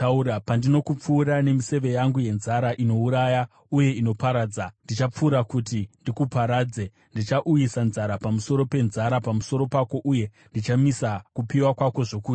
Pandinokupfura nemiseve yangu yenzara, inouraya uye inoparadza, ndichapfura kuti ndikuparadze. Ndichauyisa nzara pamusoro penzara pamusoro pako uye ndichamisa kupiwa kwako zvokudya.